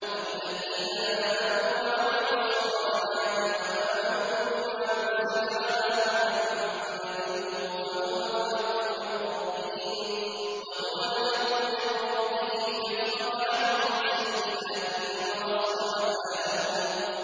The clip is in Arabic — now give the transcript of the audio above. وَالَّذِينَ آمَنُوا وَعَمِلُوا الصَّالِحَاتِ وَآمَنُوا بِمَا نُزِّلَ عَلَىٰ مُحَمَّدٍ وَهُوَ الْحَقُّ مِن رَّبِّهِمْ ۙ كَفَّرَ عَنْهُمْ سَيِّئَاتِهِمْ وَأَصْلَحَ بَالَهُمْ